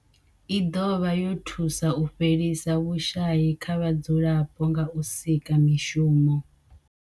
I dovha ya thusa u fhelisa vhushayi kha vhadzulapo nga u sika mishumo.